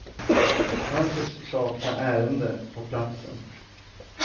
Han tycks sakna ärende på platsen.